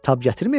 Tab gətirməyəcək?